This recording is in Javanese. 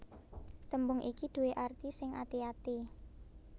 Tembung iki due arti sing ati ati